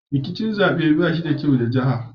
Rikicin zabe bai yi da kyau wa jiha ba.